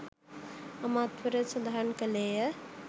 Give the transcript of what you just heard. අමාත්‍යවරයා සඳහන් කළේය